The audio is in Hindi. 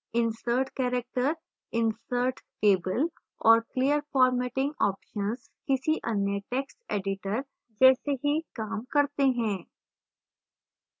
insert character insert table और clear formatting options किसी any text editor जैसे ही काम करते हैं